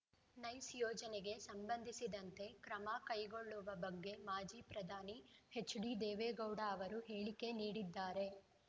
nice ಯೋಜನೆಗೆ ಸಂಬಂಧಿಸಿದಂತೆ ಕ್ರಮ ಕೈಗೊಳ್ಳುವ ಬಗ್ಗೆ ಮಾಜಿ ಪ್ರಧಾನಿ ಎಚ್‌ಡಿದೇವೇಗೌಡ ಅವರು ಹೇಳಿಕೆ ನೀಡಿದ್ದಾರೆ